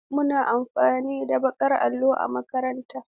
Muna amfani da baƙin allo a makaranta ta.